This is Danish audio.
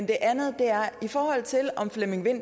det er noget